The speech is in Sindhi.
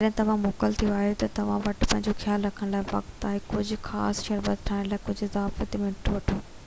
جڏهن توهان موڪل تي آهيو تہ توهان وٽ پنهنجو خيال رکڻ لاءِ وقت آهي ۽ ڪجهہ خاص شربت ٺاهڻ لاءِ ڪجهہ اضافي منٽ وٺو